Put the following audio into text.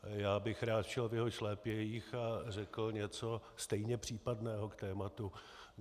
Já bych rád šel v jeho šlépějích a řekl něco stejně případného k tématu.